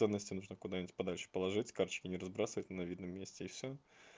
то насте нужно куда-нибудь подальше положить карточки не разбрасывать на видном месте и всё